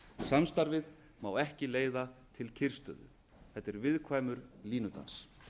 samstarfið má ekki leiða til kyrrstöðu þetta er viðkvæmur línudans